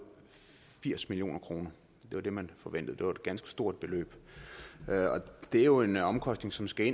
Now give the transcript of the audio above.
firs million kroner det var det man forventede og et ganske stort beløb det er jo en omkostning som skal